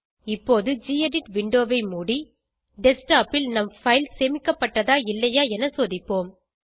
இப்போது கெடிட் விண்டோவை மூடி டெஸ்க்டாப் ல் நம் பைல் சேமிக்கப்பட்டதா இல்லையா என சோதிப்போம்